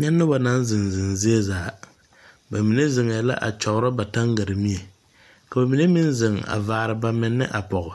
Nyɛ nobɔ naŋ zeŋ zeŋ ziezaa. Ba mine zeŋɛɛ la a kyɔgrɔ ba taŋgar-mie, ka ba mine meŋ zeŋ a vaar bamenne a pɔge.